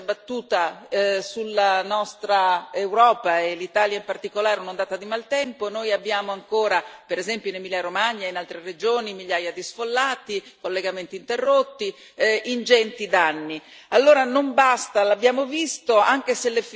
Per fortuna meno grave delle altre, ma anche in questi giorni si è abbattuta sulla nostra Europa, e sull'Italia in particolare, un'ondata di maltempo. Noi abbiamo ancora per esempio in Emilia Romagna e in altre regioni migliaia di sfollati, collegamenti interrotti, ingenti danni.